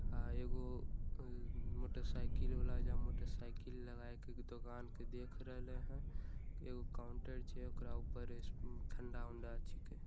आ एगो मोटरसाइकिल वला एजा मोटरसाइकिल लगा के दुकान के देख रहले हई एगो काउंटर छै ओकरा ऊपर एस ठंडा-वंडा छिके।